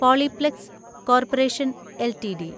Polyplex corporation LTD